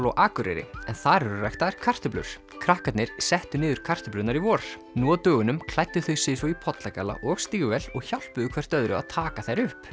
á Akureyri en þar eru ræktaðar kartöflur krakkarnir settu niður kartöflurnar í vor nú á dögunum klæddu þau sig svo í pollagalla og stígvél og hjálpuðu hvert öðru að taka þær upp